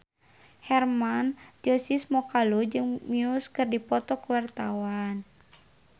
Hermann Josis Mokalu jeung Muse keur dipoto ku wartawan